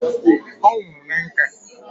O nwuru na nka